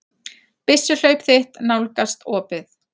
Byssuhlaup þitt nálgast opið.